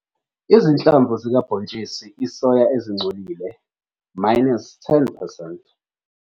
Izinhlamvu zikabhontshisi isoya ezingcolile - 10 percent.